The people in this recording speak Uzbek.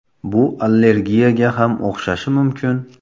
Bu allergiyaga ham o‘xshashi mumkin.